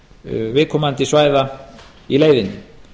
menningarstigi viðkomandi svæða í leiðinni